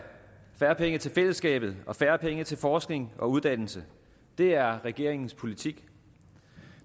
færre penge til fællesskabet og færre penge til forskning og uddannelse det er regeringens politik